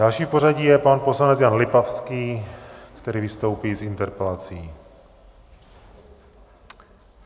Další v pořadí je pan poslanec Jan Lipavský, který vystoupí s interpelací.